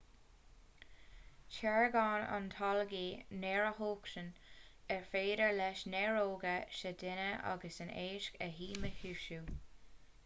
táirgeann an t-algaí néarathocsain ar féidir leis néaróga sa duine agus in éisc a dhíchumasú